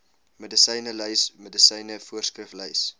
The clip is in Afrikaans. medisynelys medisyne voorskriflys